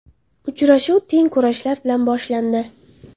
Uchrashuv teng kurashlar bilan boshlandi.